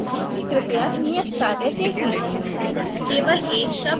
तीन बार क्यूँ क्रपया नियत कार्य देखें